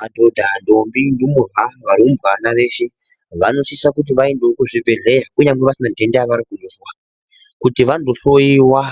Madhodha ndombi ndumurwa varumbwana veshe vanosisa kuti vaende kuzvibhehlera kunyange vasina denda ravanozwa kundohloiwa